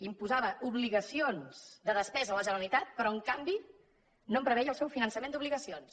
imposava obligacions de despesa a la generalitat però en canvi no en preveia el seu finançament d’obligacions